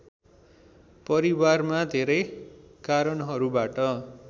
परिवारमा धेरै कारणहरूबाट